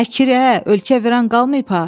Əki, ə, ölkə viran qalmayıb ha!